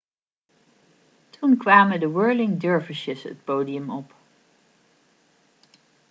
toen kwamen de whirling dervishes het podium op